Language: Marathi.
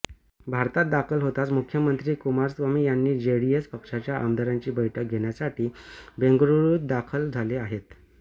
भारतात दाखल होताच मुख्यमंत्री कुमारस्वामी यांनी जेडीएस पक्षाच्या आमदारांची बैठक घेण्यासाठी बेंगळुरूत दाखल झाले आहेत